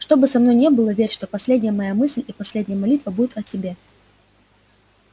что бы со мною ни было верь что последняя моя мысль и последняя молитва будет о тебе